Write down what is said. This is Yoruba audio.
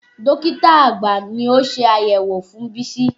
Dókítà àgbà ni ó ṣe àyẹ̀wò fún Bísí.